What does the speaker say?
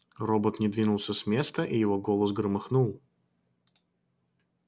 робот не двинулся с места и его голос громыхнул